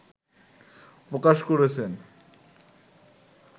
প্রকাশ করেছেন